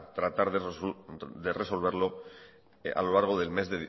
tratar de resolverlo a lo largo del mes